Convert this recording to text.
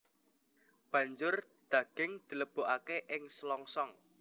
Banjur daging dilebokake ing selongsong